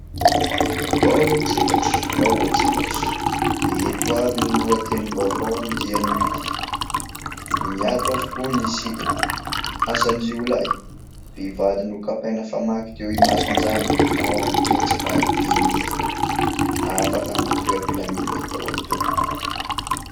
Vaovao tselatra ! Vaovao tselatra ! Ireto avy no lohatenim-baovao amin'ity anio ity : "Miato avokoa ny sidina"; "Asan-jiolahy : mpivady nokapaina famaky teo imason-janany", ao amin'ny pejy fahadimy. Afaka matory am-pilaminana daholo tompoko.